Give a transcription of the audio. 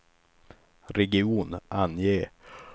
region, ange